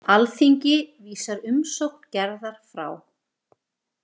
Alþingi vísar umsókn Gerðar frá.